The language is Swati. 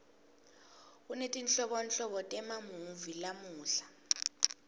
kunetinhlobonhlobo temamuvi lamuhla